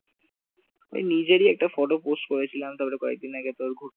এই নিজেরই একটা photo post করেছিলাম তারপর কয়েকদিন আগে ঘুরতে